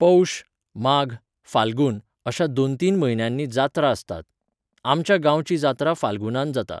पौष, माघ, फाल्गून, अश्या दोन तीन म्हयन्यांनी जात्रा आसतात. आमच्या गांवची जात्रा फाल्गुनांत जाता.